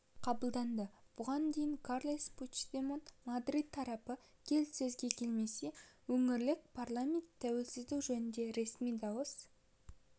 қабылданды бұған дейін карлес пучдемон мадрид тарапы келіссөзге келмесе өңірлік парламент тәуелсіздік жөнінде ресми дауыс